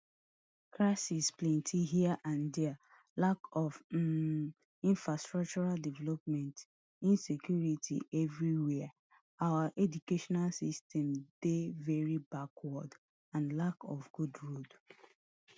crisis plenty here and dia lack of um infrastructural development insecurity evriwia our educational system dey very backward and lack of good road